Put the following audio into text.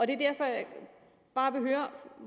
er derfor jeg bare vil høre